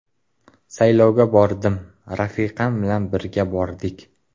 Saylovga bordim, rafiqam bilan birga bordik.